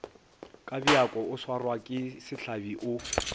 kabjako o swarwake sehlabi o